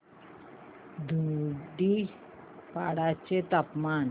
धुडीपाडा चे तापमान